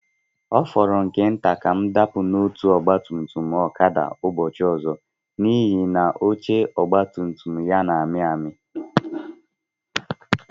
Ọ fọrọ nke nta ka m dapụ n'otu ọgba tum tum Okada ụbọchị ọzọ, n'ihi na oche ọgba tum tum ya na-amị amị.